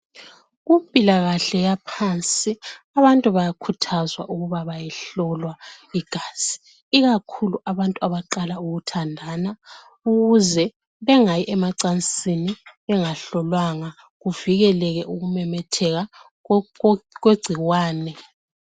Kumpilakahle yaphansi abantu bayakhuthazwa ukuba bayehlolwa igazi ikakhulu abantu abaqala ukuthandana ukuze bengayi emacansini bengahlolwanga kuvikeleke ukumemetheka kwegcikwane.